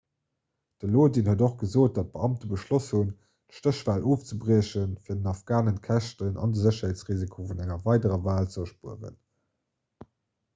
de lodin huet och gesot datt d'beamte beschloss hunn d'stéchwal ofzebriechen fir den afghanen d'käschten an de sécherheetsrisiko vun enger weiderer wal ze erspueren